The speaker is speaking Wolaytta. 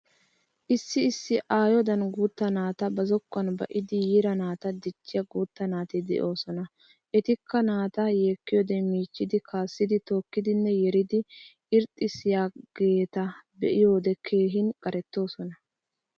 Issi issi aayodan guutta naata ba zokkuwan ba'idi yiira naata dichchiya guutta naati de'oosona. Etikka naataa yekkiyoode michchi kaasidi tookkidinne yeridi irxxissiyageeta be'iyode keehin qarettoosona.